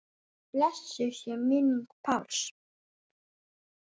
Blessuð sé minning Páls.